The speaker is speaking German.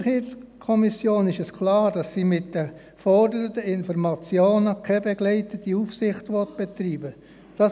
Für die SiK ist klar, dass sie mit den geforderten Informationen keine begleitende Aufsicht betreiben will.